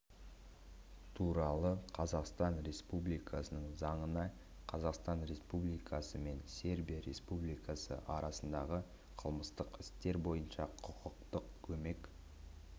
туралы қазақстан республикасының заңына қазақстан республикасы мен сербия республикасы арасындағы қылмыстық істер бойынша құқықтық көмек